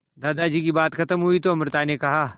दादाजी की बात खत्म हुई तो अमृता ने कहा